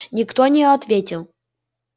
никто не ответил